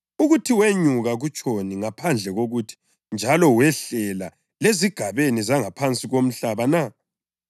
(Ukuthi “wenyuka” kutshoni ngaphandle kokuthi njalo wehlela lezigabeni zangaphansi komhlaba na?